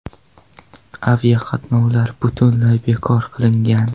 Aviaqatnovlar butunlay bekor qilingan.